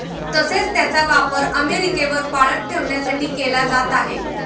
तसेच त्याचा वापर अमेरिकेवर पाळत ठेवण्यासाठी केला जात आहे.